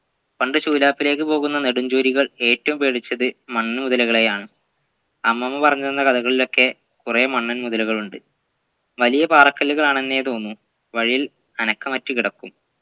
പണ്ടു ശൂലാപ്പിലേക്കു പോവുന്ന നടുംച്ചൂരികൾ ഏറ്റവും പേടിച്ചത് മണ്ണുമുതലകളെയാണ് അമ്മമ്മ പറഞ്ഞ തന്ന കഥകളിലൊക്കെ കുറേ മണ്ണൻ മുതലകളുണ്ട് വലിയ പാറക്കല്ലുകളാണെന്നേ തോന്നു വഴിയിൽ അനക്കമറ്റ്‌ കിടക്കും